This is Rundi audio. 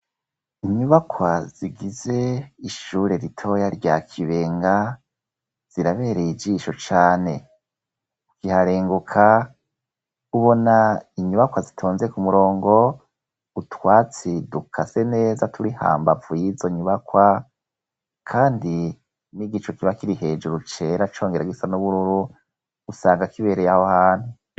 Inyubakwa zigize ishure ritoya rya Kibenga zirabereye ijisho cane. Ukiharenguka ubona inyubakwa zitonze ku murongo, utwatsi dukase neza turi hambavu yizo nyubakwa kandi n'igicu kiba kiri hejuru cera congera gisa n'ubururu usanga kibereye aho hantu.